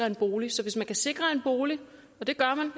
en bolig så hvis man kan sikre en bolig og det gør man